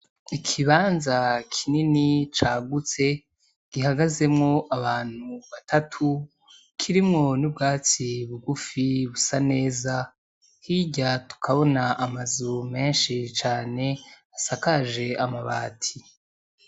Ikibanza kinini cagutse gihagazemwo abantu batatu kirimwo n,ubwatsi bugufi busa neza hirya tukabona amazu menshi cane asakaje amabati.